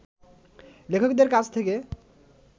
লেখকদের কাছ থেকে